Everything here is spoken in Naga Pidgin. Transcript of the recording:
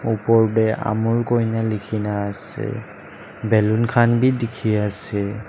oper te amul ena likhi ne ase balloon khan bi dikhi ase.